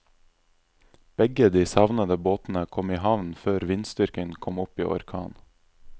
Begge de savnede båtene kom i havn før vindstyrken kom opp i orkan.